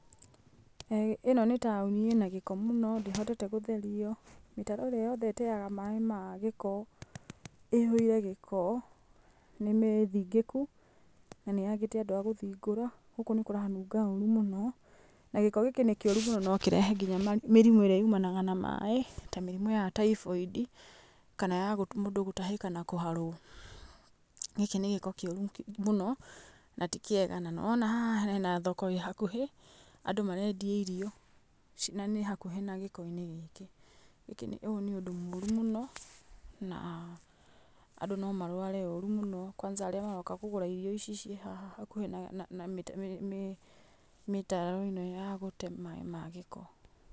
ĩno nĩ taũni ĩna gĩko mũno ndĩhotete gũtherio, mĩtaro ĩrĩa yothe ĩteaga maĩ ma gĩko ĩihũire gĩko, nĩmĩthingĩku na nĩ yagĩte andũ a gũthingũra, gũkũ nĩkũranunga ũrũ mũno, na gĩko gĩkĩ nĩ kĩũrũ mũno no kĩrehe mĩrimũ ĩrĩa yumanaga na maĩ ta mĩrimũ ya typhoid, kana ya mũndũ gũtahĩka na kũharwo, gĩkĩ nĩ gĩko kĩũrũ mũno na ti kĩega na nĩwona haha hena thoko ĩ hakuhĩ andũ marendia irio na nĩ hakuhĩ na gĩko-inĩ gĩkĩ, ũyũ nĩ ũndũ mũru mũno na andũ no marware ũru mũno, kwanza arĩa maroka kũgũra irio ici ciĩ haha hakuhĩ na mĩtaro ĩno ya gũte maĩ ma gĩko.